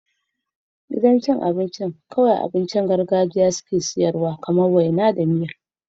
Gidan cin abinci yana ba da abincin vegan kawai kamar masara mai zaki.